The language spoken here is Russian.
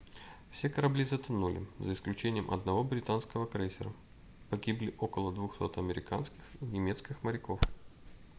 все корабли затонули за исключением одного британского крейсера погибли около 200 американских и немецких моряков